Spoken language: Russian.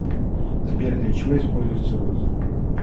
сбер для чего используется розы